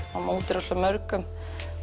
á móti rosalega mörgum